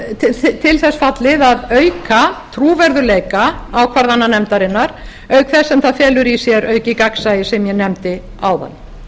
þetta talið til þess fallið að auka trúverðugleika ákvarðana nefndarinnar auk þess sem það felur í sér aukið gagnsæi sem ég nefndi áðan